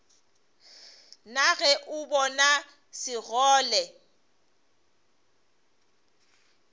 na ge o bona sekgole